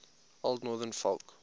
old northern folk